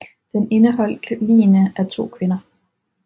Den indeholdt ligene af to kvinder